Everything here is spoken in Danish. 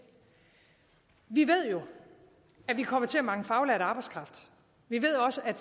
vi ved jo at vi kommer til at mangle faglært arbejdskraft vi ved også at